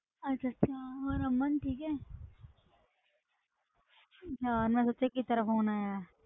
ਅੱਛਾ ਅੱਛਾ ਹੋਰ ਅਮਨ ਠੀਕ ਹੈ ਯਾਰ ਮੈਂ ਸੋਚਿਆ ਗੀਤਾ ਦਾ phone ਆਇਆ ਹੈ।